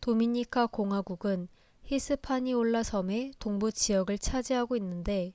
도미니카 공화국스페인어 명: república dominicana은 히스파니올라 섬의 동부 지역을 차지하고 있는데